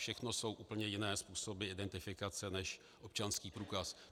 Všechno jsou úplně jiné způsoby identifikace než občanský průkaz.